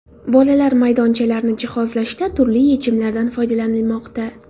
Bolalar maydonchalarini jihozlashda turli yechimlardan foydalanilmoqda.